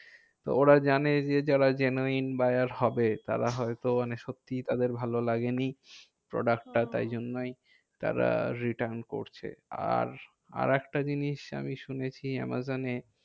তো ওরা জানে যে যারা genuine buyer হবে, তারা হয়তো মানে সত্যি তাদের ভালো লাগেনি product টা তাই জন্যই তারা return করছে। আর আরেকটা জিনিস আমি শুনেছি আমাজনে